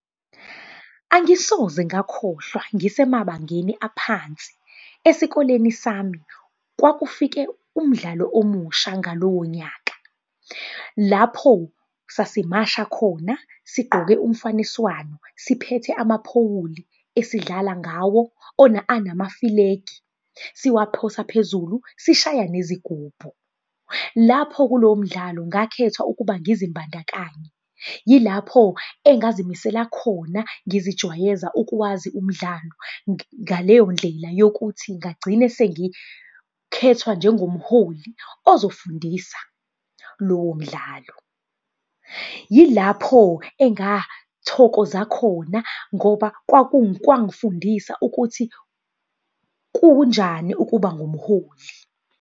Angisoze ngakhohlwa ngisemabangeni aphansi. Esikoleni sami kwakufike umdlalo omusha ngalowo nyaka. Lapho sasimasha khona, sigqoke umfaniswano, siphethe amapholi, esidlala ngawo anamafilegi, siwaphosa phezulu, sishaya nezigubhu. Lapho kulowo mdlalo ngakhethwa ukuba ngizimbandakanye, yilapho engazimisele khona ngizijwayeza ukuwazi umdlalo ngaleyo ndlela yokuthi ngagcina sengikhethwa njengomholi ozofundisa lowo mdlalo. Yilapho engathokoza khona ngoba kwang'fundisa ukuthi kunjani ukuba ngumholi.